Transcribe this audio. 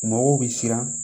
Mɔgɔw bɛ siran